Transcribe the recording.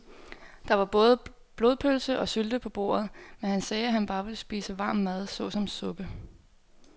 Der var både blodpølse og sylte på bordet, men han sagde, at han bare ville spise varm mad såsom suppe.